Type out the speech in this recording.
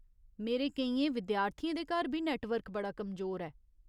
मेरे केइयें विद्यार्थियें दे घर बी नैट्टवर्क बड़ा कमजोर ऐ।